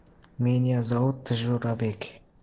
меня зовут джурабек